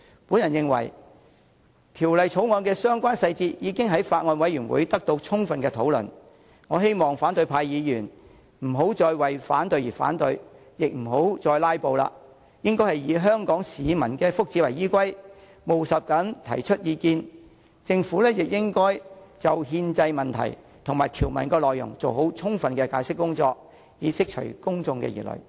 我認為《條例草案》的相關細節已經在法案委員會得到充分討論，我希望反對派議員不要再為反對而反對，亦不要再"拉布"，應該以香港市民的福祉為依歸，務實地提出意見，政府亦應該就憲政問題及條文內容做好充分的解釋工作，以釋除公眾疑慮。